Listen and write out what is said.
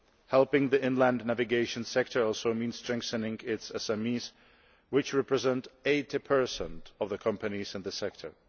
Helping the inland navigation sector also means strengthening its SMEs, which represent 80 of the companies in the sector.